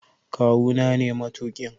Kawu na ne matuƙin.